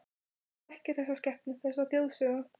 Hann þekkir þessa skepnu, þessa þjóðsögu.